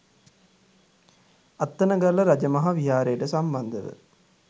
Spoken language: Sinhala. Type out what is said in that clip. අත්තනගල්ල රජමහා විහාරයට සම්බන්ධ ව